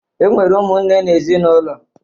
E nwere ụmụnne n'ezinaụlọ